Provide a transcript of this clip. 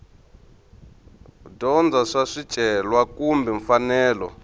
dyondza swa swicelwa kumbe mfanelo